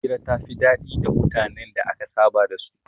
Hira ta fi daɗi da mutanen da aka saba da su